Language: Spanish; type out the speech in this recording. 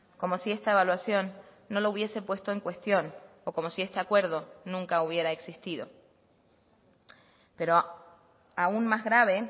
como si esta evaluación no lo hubiese puesto en cuestión o como si este acuerdo nunca hubiera existido pero aun más grave